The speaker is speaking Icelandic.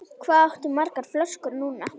Hvað áttu margar flöskur núna?